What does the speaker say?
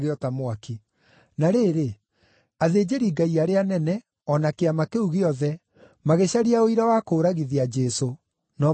Na rĩrĩ, athĩnjĩri-Ngai arĩa anene, o na Kĩama kĩu gĩothe, magĩcaria ũira wa kũũragithia Jesũ, no mationire.